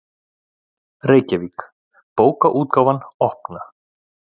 Reykjavík: Bókaútgáfan Opna.